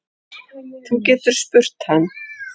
Þú getur spurt hann.